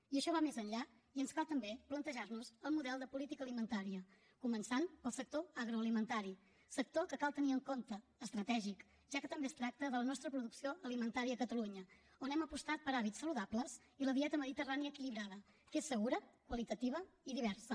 i això va més enllà i ens cal també plantejar nos el model de política alimentària començant pel sector agroalimentari sector que cal tenir en compte estratègic ja que també es tracta de la nostra producció alimentària a catalunya on hem apostat per hàbits saludables i la dieta mediterrània equilibrada que és segura qualitativa i diversa